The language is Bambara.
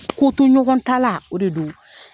Ko to ɲɔgɔn ta la, o de don.